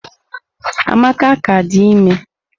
Amaka ka di ime.